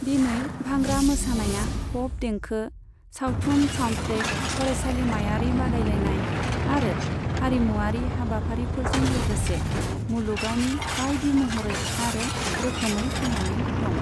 दिनै, भांगड़ा मोसानाया पप देंखो, सावथुन साउन्डट्रेक, फरायसालिमायारि बादायलायनाय आरो हारिमुयारि हाबाफारिफोरजों लोगोसे मुलुगावनि बायदि महरै आरो रोखोमै थांनानै दं।